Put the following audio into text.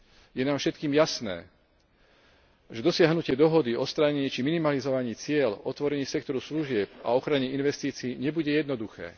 Je nám všetkým jasné, že dosiahnutie dohody o odstránení či minimalizovaní ciel, otvorení sektoru služieb a ochrane investícií nebude jednoduché.